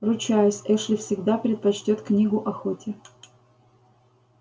ручаюсь эшли всегда предпочтёт книгу охоте